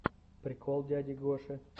прикол дяди гоши